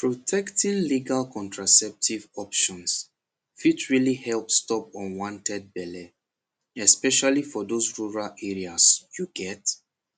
protecting legal contraceptive options fit really help stop unwanted belle especially for those rural areas you get